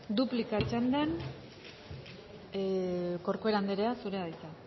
duplika txandan corcuera andrea zurea da hitza